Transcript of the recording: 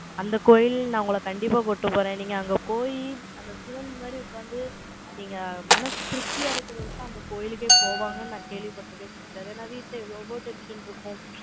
அந்தக் கோயில், நான் உங்களை கண்டிப்பா கூட்டிட்டு போறேன். நீங்க அங்க போயி, அந்த சிவன் முன்னாடி உட்கார்ந்து, நீங்க மனசு திருப்தியா இருக்கிறதுக்குதான், அந்த கோயிலுக்கே போவாங்கன்னு, நான் கேள்விப்பட்டிருக்கேன் sister. ஏன்னா, வீட்டுல எவ்வளவோ tension இருக்கும்.